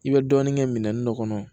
I bɛ dɔɔnin kɛ minɛnin dɔ kɔnɔ